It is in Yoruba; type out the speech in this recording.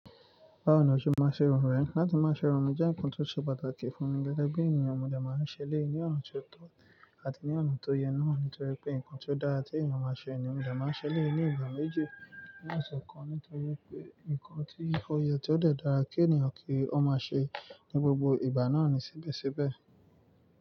Báwo ni o ṣe máa ṣe irun rẹ? Látí máa ṣe irun mi jẹ́ nkan tó ṣe pàtàkì fún mi gẹ́gẹ́ bí ènìyàn. Mo dà máa ń ṣẹlẹ ní ọ̀run tí ó tọ́ àti ní ọ̀nà tó yẹ náà nítorí pé nǹkan tó dára tí ènìyàn máa ṣe ni mo dà máa ń ṣẹlẹ ní ìgbà méjì ní ọ̀sẹ̀ kan nítorí pé nǹkan tí ó yẹ tó dẹ́ra kí ènìyàn kí ó máa ṣe ní gbogbo ìgbà náà ni sébẹsébẹ.